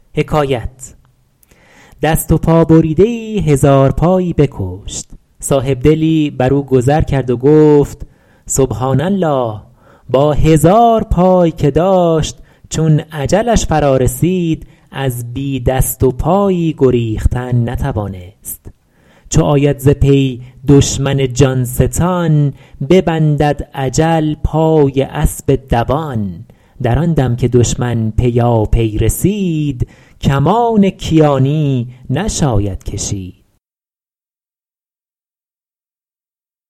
دست و پا بریده ای هزارپایی بکشت صاحبدلی بر او گذر کرد و گفت سبحٰان الله با هزار پای که داشت چون اجلش فرا رسید از بی دست و پایی گریختن نتوانست چو آید ز پی دشمن جان ستان ببندد اجل پای اسب دوان در آن دم که دشمن پیاپی رسید کمان کیانی نشاید کشید